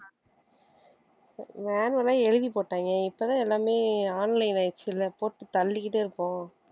manual ஆ எழுதி போட்டாங்க இப்பதான் எல்லாமே online ஆயிடுச்சுல்ல போட்டு தள்ளிக்கிட்டே இருப்போம்